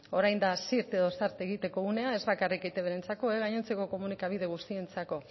orain da zirt edo zart egiteko unea ez bakarrik eitbrentzako gainontzeko komunikabide guztientzako